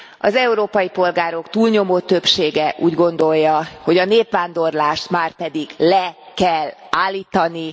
Az európai polgárok túlnyomó többsége úgy gondolja, hogy a népvándorlást márpedig le kell állítani.